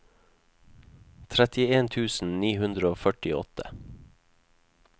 trettien tusen ni hundre og førtiåtte